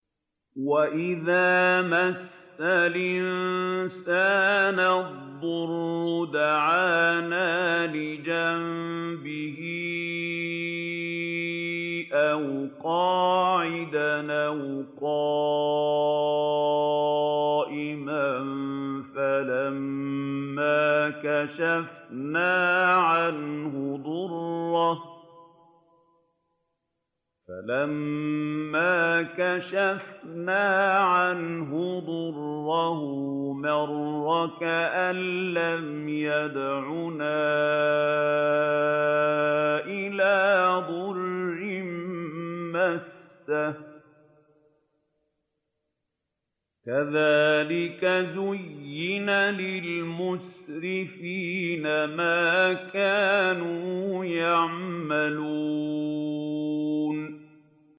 وَإِذَا مَسَّ الْإِنسَانَ الضُّرُّ دَعَانَا لِجَنبِهِ أَوْ قَاعِدًا أَوْ قَائِمًا فَلَمَّا كَشَفْنَا عَنْهُ ضُرَّهُ مَرَّ كَأَن لَّمْ يَدْعُنَا إِلَىٰ ضُرٍّ مَّسَّهُ ۚ كَذَٰلِكَ زُيِّنَ لِلْمُسْرِفِينَ مَا كَانُوا يَعْمَلُونَ